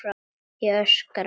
Ég öskra.